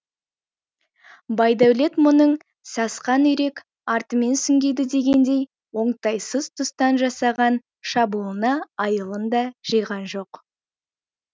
байдәулет мұның сасқан үйрек артымен сүңгиді дегендей оңтайсыз тұстан жасаған шабуылына айылын да жиған жоқ